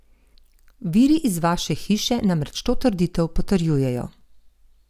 Viri iz vaše hiše namreč to trditev potrjujejo!